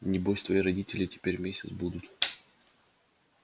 небось твои родители теперь месяц будут